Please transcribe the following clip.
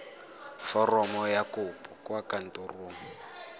foromo ya kopo kwa kantorong